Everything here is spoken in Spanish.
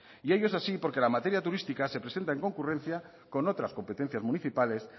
y ello es así porque la materia turística se presenta en concurrencia con otras competencias municipales